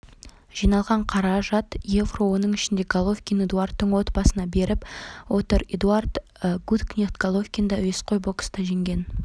жиналған қаражат евро оның ішінде головкин эдуардтың отбасына беріп отыр эдуард гуткнехт головкинді әуесқой бокста жеңген